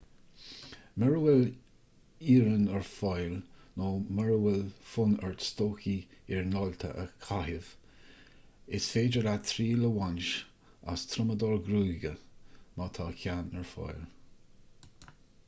mura bhfuil iarann ​​ar fáil nó mura bhfuil fonn ort stocaí iarnáilte a chaitheamh is féidir leat triail a bhaint as triomadóir gruagaire má tá ceann ar fáil